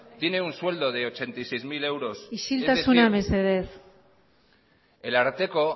tiene un sueldo de ochenta y seis mil euros es decir isiltasuna mesedez el ararteko